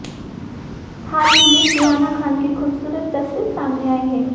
हाल ही में सुहाना खान की खूबसूरत तस्वीर सामने आई है